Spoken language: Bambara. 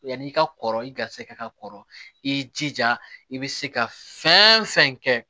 Yanni i ka kɔrɔ i garisɛgɛ kɔrɔ i jija i bɛ se ka fɛn fɛn kɛ